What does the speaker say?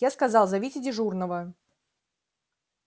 я сказал зовите дежурного